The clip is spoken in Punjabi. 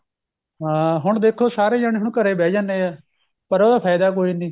ਹਾਂ ਹੁਣ ਦੇਖੋ ਸਾਰੇ ਜਾਣੇ ਹੁਣ ਘਰੇ ਬਹਿ ਜਾਨੇ ਏ ਪਰ ਉਹਦਾ ਫਾਇਦਾ ਕੋਈ ਨੀਂ